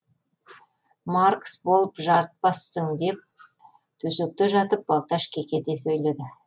маркс болып жарытпассың деп төсекте жатып балташ кекете сөйледі